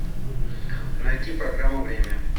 найти программу время